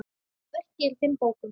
Verkið er í fimm bókum.